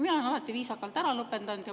Mina olen alati viisakalt ära lõpetanud.